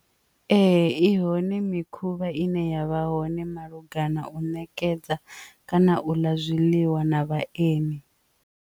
Ee, i hone mikhuvha ine yavha hone malugana u nekedza kana u ḽa zwiḽiwa na vhaeni.